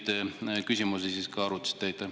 Kas te neid küsimusi ka arutasite?